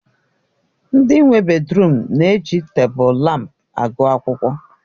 Ndị nwe bèdrụm na-eji tebụl lámpu agụ akwụkwọ.